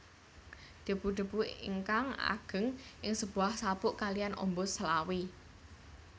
Debu debu ingkang ageng ing sebuah sabuk kaliyan ombo selawe